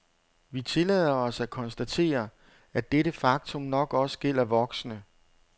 Vi tillader os at konstatere, at dette faktum nok også gælder voksne.